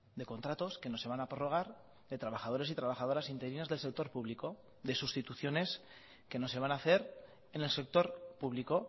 de contratos que no se van a prorrogar de trabajadores y trabajadoras interinas del sector público de sustituciones que no se van a hacer en el sector público